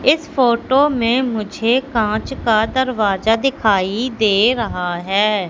इस फोटो में मुझे कांच का दरवाजा दिखाई दे रहा है।